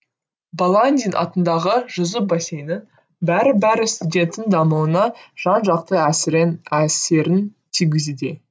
баландин атындағы жүзу бассейні бәрі бәрі студенттің дамуына жан жақты әсерін тигізуде